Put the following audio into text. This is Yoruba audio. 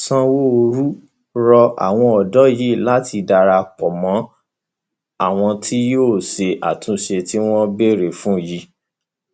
sanwóoru rọ àwọn ọdọ yìí láti darapọ mọ àwọn tí yóò ṣe àtúnṣe tí wọn ń béèrè fún yìí